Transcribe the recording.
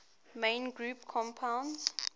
main group compounds